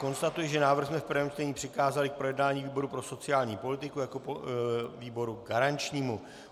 Konstatuji, že návrh jsme v prvém čtení přikázali k projednání výboru pro sociální politiku jako výboru garančnímu.